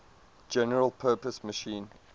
general purpose machine